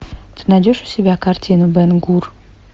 ты найдешь у себя картину бен гур